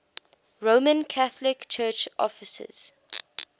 roman catholic church offices